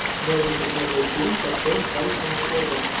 дай мне посмотреть фильм с актером харрисоном фордом